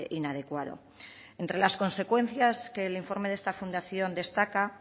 inadecuado entre las consecuencias que el informe de esta fundación destaca